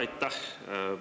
Aitäh!